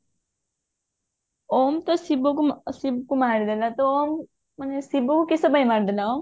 ଓମ ତ ଶିବକୁ ଶିବକୁ ମାରିଦେଲା ତ ଓମ ମାନେ ଶିବକୁ କିସ ପାଇଁ ମାରିଦେଲା ଓମ